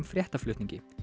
fréttaflutningi